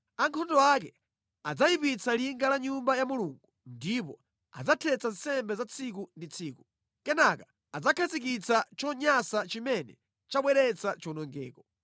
“Ankhondo ake adzayipitsa linga la Nyumba ya Mulungu ndipo adzathetsa nsembe za tsiku ndi tsiku. Kenaka adzakhazikitsa chonyansa chimene chabweretsa chiwonongeko.